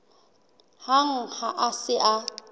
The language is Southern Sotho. hang ha a se a